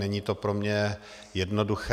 Není to pro mě jednoduché.